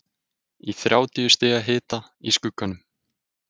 Í þrjátíu stiga hita, í skugganum.